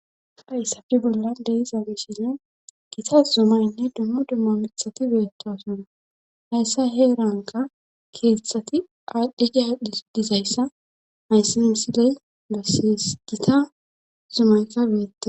hayssafile bollan dee'izabishinne gita zumaynne dummu dummo mithati beyettosona hayssa heeranka keeththati aadhdhe gi adhdhis dizayssa hayssi misiley lesses gita zumayka beettes